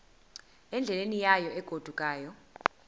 endleleni yayo egodukayo